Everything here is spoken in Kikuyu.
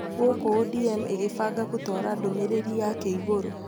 Gũkũ ODM igĩbanga gũtwara ndũmĩrĩri yake igũrũ,